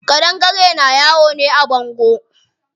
Ƙadangare na yawo ne a bango.